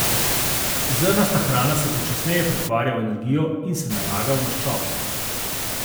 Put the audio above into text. Zrnasta hrana se počasneje pretvarja v energijo in se nalaga v maščobo.